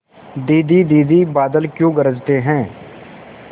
दीदी दीदी बादल क्यों गरजते हैं